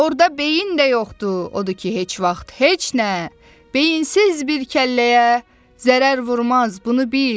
Orda beyin də yoxdur, odur ki heç vaxt heç nə, beyinsiz bir kəlləyə zərər vurmaz, bunu bil.